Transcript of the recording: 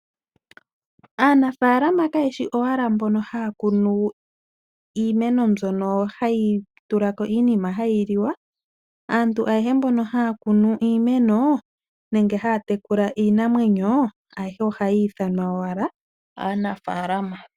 Aanafaaalama kaye shi owala mboka haya kunu iimeno mbyoka hayi tula ko iinima hayi liwa. Aantu ayehe mboka haya kunu iimeno nenge haya tekula iinamwenyo ayehe ohayi ithanwa owala aanafalama.